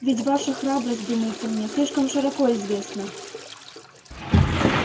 ведь ваша храбрость думается мне слишком широко известна